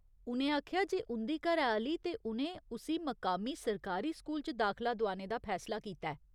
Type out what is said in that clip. उ'नें आखेआ जे उं'दी घरैआह्‌ली ते उ'नें उस्सी मकामी सरकारी स्कूल च दाखला दोआने दा फैसला कीता ऐ।